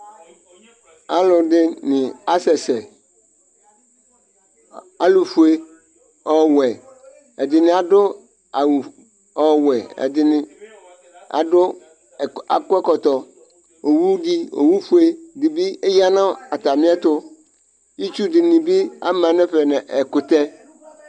Alʋ ɛdini asɛsɛ, alʋfue, ɔwɛ, ɛdini adʋ awʋ ɔwɛ, ɛdini adʋ, ak'ɛkɔtɔ, owu di, owu fue di bi eya n'atami ɛtʋ, itsu dini bi ama n'ɛfɛ nʋ ɛkʋtɛ